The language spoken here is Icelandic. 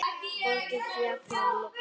Borgin féll að lokum.